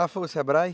Ah, foi o Sebrae?